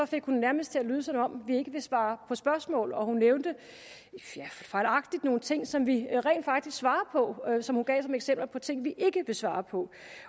fik hun det nærmest til at lyde som om vi ikke vil svare på spørgsmål hun nævnte fejlagtigt nogle ting som vi rent faktisk svarer på men som hun gav som eksempler på ting vi ikke vil svare på